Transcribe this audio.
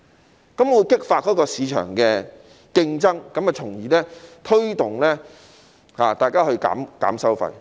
這樣便會激發市場的競爭，從而推動受託人減低收費。